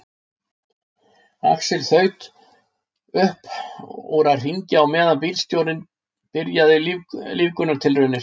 Axel þaut upp úr að hringja á meðan bílstjórinn byrjaði lífgunartilraunir.